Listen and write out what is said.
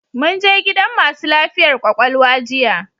Mun je gidan masu lafiyar kwakwalwa jiya